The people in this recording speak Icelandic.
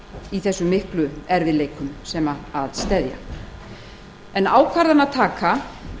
í þeim miklu erfiðleikum sem að steðja en ákvörðunartaka